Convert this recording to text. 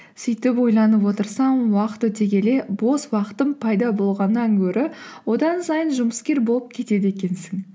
сөйтіп ойланып отырсам уақыт өте келе бос уақытым пайда болғаннан гөрі одан сайын жұмыскер болып кетеді екенсің